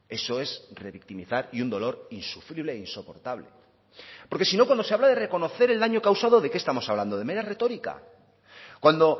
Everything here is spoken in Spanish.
eso es revictimizar y un dolor insufrible e insoportable porque si no cuando se habla de reconocer el daño causado de qué estamos hablando de mera retórica cuando